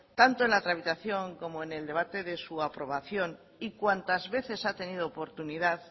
tanto en la tramitación como en el debate de su aprobación y cuantas veces ha tenido oportunidad